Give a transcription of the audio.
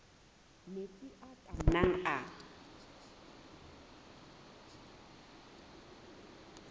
metsi a ka nnang a